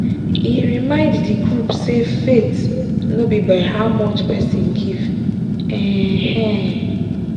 e remind d group say faith no be how much person give. um